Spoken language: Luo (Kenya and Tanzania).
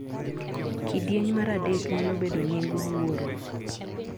Kidieny mar adek nyalo bedo nying wuoro